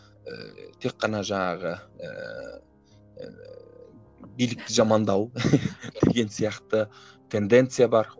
ііі тек қана жаңағы ыыы билікті жамандау деген сияқты тенденция бар